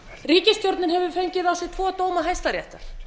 ríkisstjórnin hefur fengi á sig tvo dóma hæstaréttar